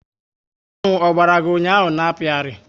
Aṅụ Ogbara gị ụnyaahụ n'akpiari